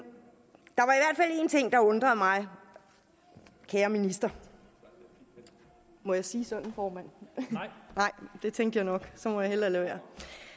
ting der undrede mig kære minister må jeg sige sådan formand det tænkte jeg nok så må jeg hellere lade være